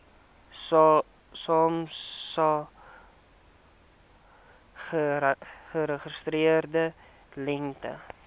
samsa geregistreerde lengte